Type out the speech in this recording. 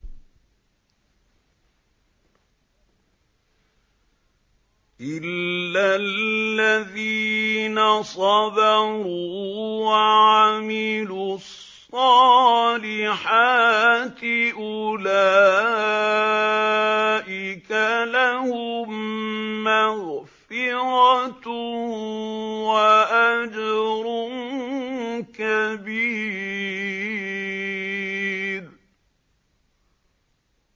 إِلَّا الَّذِينَ صَبَرُوا وَعَمِلُوا الصَّالِحَاتِ أُولَٰئِكَ لَهُم مَّغْفِرَةٌ وَأَجْرٌ كَبِيرٌ